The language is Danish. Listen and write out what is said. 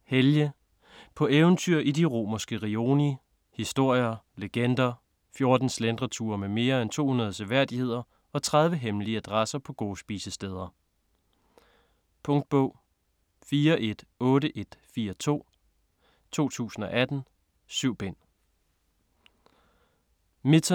Kamp, Helge: På eventyr i de romerske rioni: historier, legender, 14 slentreture med mere end 200 seværdigheder og 30 hemmelige adresser på gode spisesteder Punktbog 418142 2018. 7 bind.